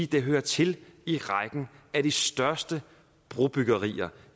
den hører til i rækken af de største brobyggerier